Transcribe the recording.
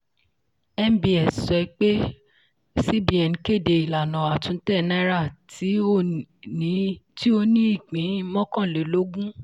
nbs sọ pé cbn kéde ìlànà àtúntẹ̀ náírà tí o ní ipín mọ́kànlélógún.